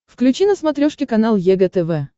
включи на смотрешке канал егэ тв